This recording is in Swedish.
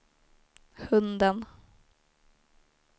hunden